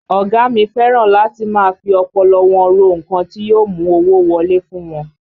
Ọ̀gá a mi fẹ́ràn láti máa fi ọpọlọ wọn ro nǹkan tí yóò mú owó wọlé fún wọn